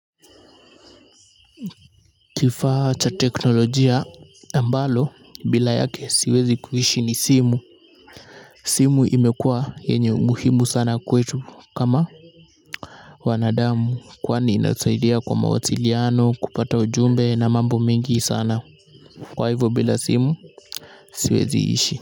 Kifaa cha teknolojia ambalo bila yake siwezi kuishi ni simu simu imekuwa yenye umuhimu sana kwetu kama wanadamu kwani inasaidia kwa mawasiliano kupata ujumbe na mambo mengi sana kwa hivyo bila simu siwezi ishi.